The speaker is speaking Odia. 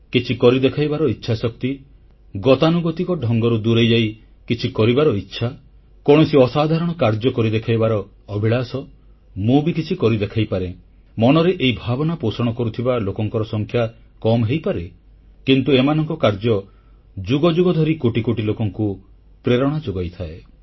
କିଛିକରି ଦେଖାଇବାର ଇଚ୍ଛାଶକ୍ତି ଗତାନୁଗତିକ ଢଙ୍ଗରୁ ଦୂରେଇଯାଇ କିଛି କରିବାର ଇଚ୍ଛା କୌଣସି ଅସାଧାରଣ କାର୍ଯ୍ୟକରି ଦେଖାଇବାର ଅଭିଳାଷ ମୁଁ ବି କିଛି କରି ଦେଖାଇପାରେ ମନରେ ଏହି ଭାବନା ପୋଷଣ କରୁଥିବା ଲୋକଙ୍କ ସଂଖ୍ୟା କମ୍ ହୋଇପାରେ କିନ୍ତୁ ଏମାନଙ୍କ କାର୍ଯ୍ୟ ଯୁଗ ଯୁଗ ଧରି କୋଟି କୋଟି ଲୋକଙ୍କୁ ପ୍ରେରଣା ଯୋଗାଇଥାଏ